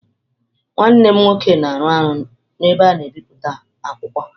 Nwanne m nwoke na-arụ ọrụ n’ebe a na-ebi akwụkwọ.